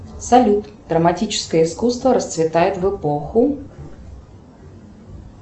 салют драматическое искусство расцветает в эпоху